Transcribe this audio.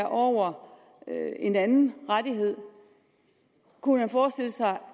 over en anden rettighed kunne man forestille sig